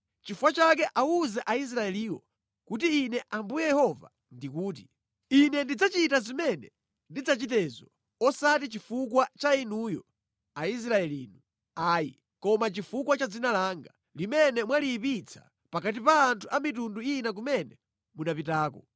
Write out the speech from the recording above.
“Nʼchifukwa chake awuze Aisraeliwo kuti Ine Ambuye Yehova ndikuti: Ine ndidzachita zimene ndidzachitezo osati chifukwa cha inuyo Aisraelinu ayi, koma chifukwa cha dzina langa, limene mwaliyipitsa pakati pa anthu a mitundu ina kumene munapitako.